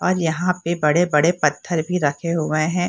और यहाँ पे बड़े-बड़े पत्थर भी रखे हुए है।